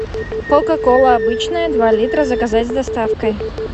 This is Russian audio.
кока кола обычная два литра заказать с доставкой